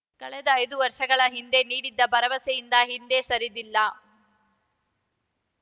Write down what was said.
ಕಳೆದ ಐದು ವರ್ಷಗಳ ಹಿಂದೆ ನೀಡಿದ್ದ ಭರವಸೆಯಿಂದ ಹಿಂದೆ ಸರಿದಿಲ್ಲ